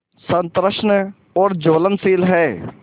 सतृष्ण और ज्वलनशील है